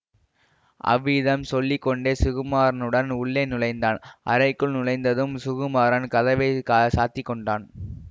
அவ்விதம் சொல்லி கொண்டே சுகுமாரனுடன் உள்ளே நுழைந்தான் அறைக்குள் நுழைந்ததும் சுகுமாரன் கதவை க சாத்திக் கொண்டான்